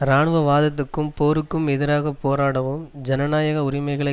இராணுவவாதத்துக்கும் போருக்கும் எதிராக போராடவும் ஜனநாயக உரிமைகளை